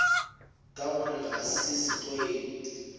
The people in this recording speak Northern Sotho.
ka gore ga se setlwaedi